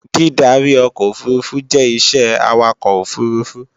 Dídarí ọkọ̀ òfurufú jẹ́ isẹ́ Awakọ̀ òfurufú